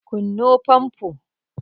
kunno fanfo!